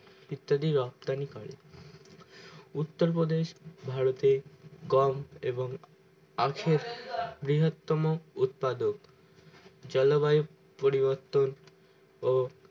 ইত্যাদি রপ্তানি করে উত্তর প্রদেশ ভারতে গম এবং আখের বৃহত্তম উৎপাদক চলো বহু পরিবর্তে ওহ